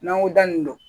N'an ko da nin don